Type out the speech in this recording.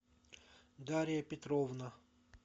дарья петровна